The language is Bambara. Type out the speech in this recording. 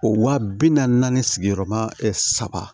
O waa bi naani sigiyɔrɔma saba